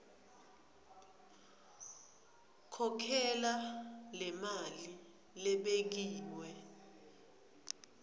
khokhela lemali lebekiwe